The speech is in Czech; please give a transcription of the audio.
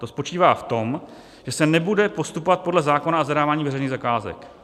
To spočívá v tom, že se nebude postupovat podle zákona o zadávání veřejných zakázek.